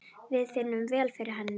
Við finnum vel fyrir henni.